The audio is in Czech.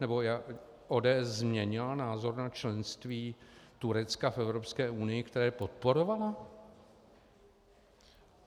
Nebo ODS změnila názor na členství Turecka v Evropské unii, které podporovala?